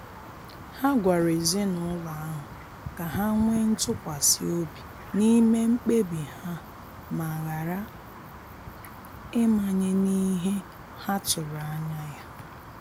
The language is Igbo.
Ha gwara ezinụlọ ahụ ka ha nwee ntụkwasi obi n'ime mkpebi ha ma ghara ịmanye n'ihe ha tụrụ anya ya.